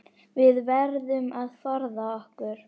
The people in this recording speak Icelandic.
Við verðum að forða okkur.